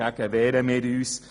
Dagegen wehren wir uns.